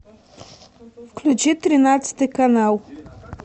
включи тринадцатый канал